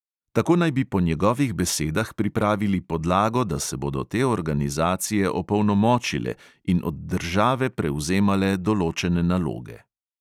Tako naj bi po njegovih besedah pripravili podlago, da se bodo te organizacije opolnomočile in od države prevzemale določene naloge.